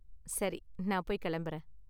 சரி, நான் போய் கிளம்புறேன்.